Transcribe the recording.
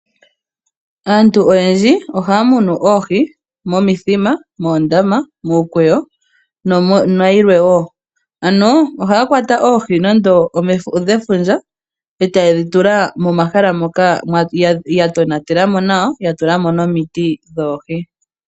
Aantu oyendji ohaya munu oohi momithima , moondama , muukweyo na yilwe woo . Ano ohaya kwata oohi nando odhe fundja e ta ye dhi tula momahala moka ya tona tela mo nawa ya tula mo nomiti dhoohi .